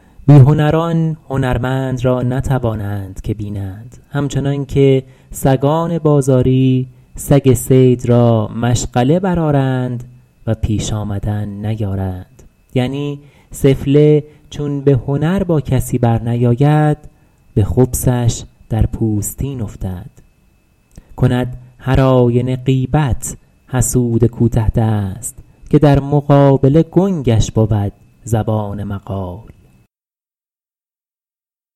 بی هنران هنرمند را نتوانند که بینند همچنان که سگان بازاری سگ صید را مشغله برآرند و پیش آمدن نیارند یعنی سفله چون به هنر با کسی برنیاید به خبثش در پوستین افتد کند هر آینه غیبت حسود کوته دست که در مقابله گنگش بود زبان مقال